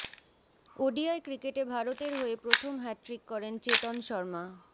ODI ক্রিকেটে ভারতের হয়ে প্রথম হ্যাটট্রিক করেন চেতন শর্মা